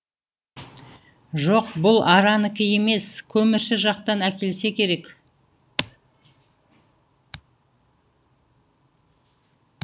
жоқ бұл аранікі емес көмірші жақтан әкелсе керек